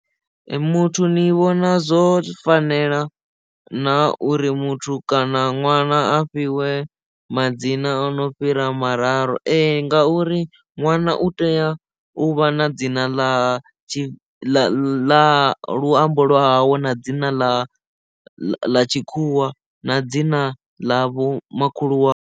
Muthu ni vhona zwo fanela na uri muthu kana ṅwana a fhiwe madzina ono fhira mararu ee ngauri ṅwana u u tea u vha na dzina ḽa ḽa luambo lwa hawe na dzina ḽa ḽa tshikhuwa na dzina ḽa vho makhulu wawe.